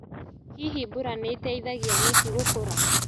Hihi mbura nĩĩteithagia nyeki gũkũra.